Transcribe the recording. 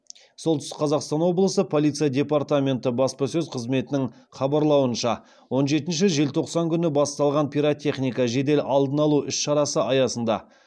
солтүстік қазақстан облысы полиция департаменті баспасөз қызметінің хабарлауынша он жетінші желтоқсан күні басталған пиротехника жедел алдын алу іс шарасы аясында